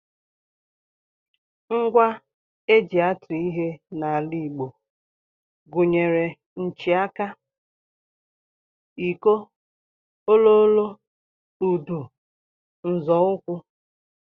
Ngwa e ji atụ ihe n'ala Igbo gụnyere nchịaka, iko, Ololo, udu, nzọụkwụ